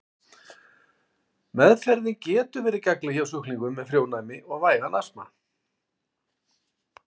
Meðferðin getur verið gagnleg hjá sjúklingum með frjónæmi og vægan astma.